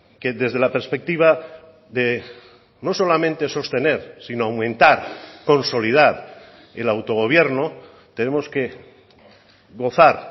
que desde la perspectiva de no solamente sostener sino aumentar consolidar el autogobierno tenemos que gozar